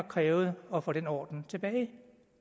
krævet at få den orden tilbage det